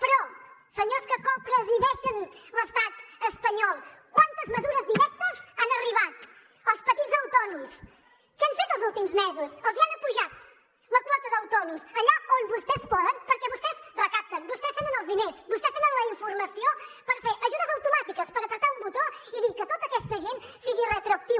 però senyors que copresideixen l’estat espanyol quantes mesures directes han arribat als petits autònoms que han fet els últims mesos els han apujat la quota d’autònoms allà on vostès poden perquè vostès recapten vostès tenen els diners vostès tenen la informació per fer ajudes automàtiques per prémer un botó i dir que tota aquesta gent sigui retroactiu